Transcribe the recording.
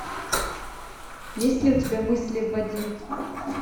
есть ли у тебя мысли в воде